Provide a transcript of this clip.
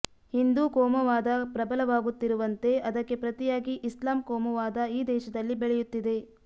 ಹಿಂದೂ ಕೋಮುವಾದ ಪ್ರಬಲವಾಗುತ್ತಿರುವಂತೆ ಅದಕ್ಕೆ ಪ್ರತಿಯಾಗಿ ಇಸ್ಲಾಂ ಕೋಮುವಾದ ಈ ದೇಶದಲ್ಲಿ ಬೆಳೆಯುತ್ತಿದೆ